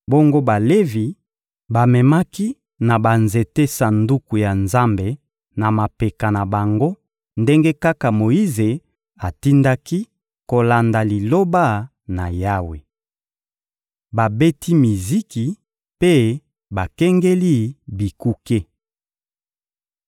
Bongo Balevi bamemaki na banzete Sanduku ya Nzambe na mapeka na bango ndenge kaka Moyize atindaki, kolanda Liloba na Yawe. Babeti miziki mpe bakengeli bikuke